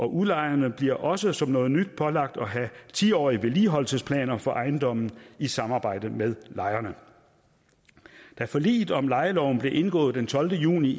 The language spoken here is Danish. udlejerne bliver også som noget nyt pålagt at have ti årige vedligeholdelsesplaner for ejendommen i samarbejde med lejerne da forliget om lejeloven blev indgået den tolvte juni